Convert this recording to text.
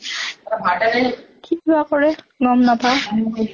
কিবা কৰে গম নাপাওঁ